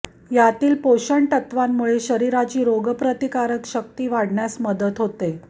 यातील पोषणतत्त्वांमुळे शरीराची रोगप्रतिकारक शक्ती वाढण्यास मदत होते